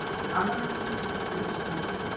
Alvarlegt bílslys fyrir austan